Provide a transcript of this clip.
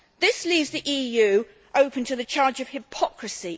This leaves the EU open to the charge of hypocrisy.